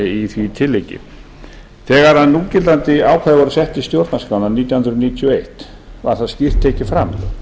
í því tilliti þegar núgildandi ákvæði voru sett í stjórnarskrána nítján hundruð níutíu og eitt var skýrt tekið fram